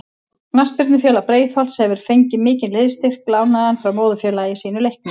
Knattspyrnufélag Breiðholts hefur fengið mikinn liðsstyrk lánaðan frá móðurfélagi sínu Leikni.